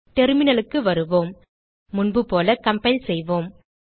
terminal க்கு வருவோம் முன்பு போல கம்பைல் செய்வோம்